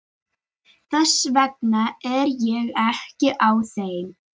Þess vegna er ég ekki á þeim.